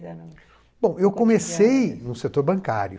Bom, eu comecei no setor bancário.